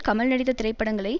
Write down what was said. கமல் நடித்த திரைப்படங்களை